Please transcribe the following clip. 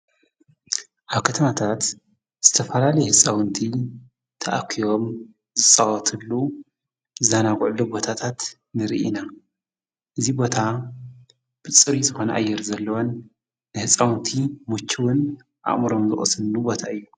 ኣብ ከተማታት ዝተፈላልይሕፃውንቲ ተኣኪዮም ዝፅዋትሉ ዛናጕዕሉ ቦታታት ንርኢነ እዙይ ቦታ ብጽሪ ዝኾነ ኣየር ዘለወን ንሕፃውንቲ ሙችውን ኣሙሮም ዝወስሉ ቦታ እዩ።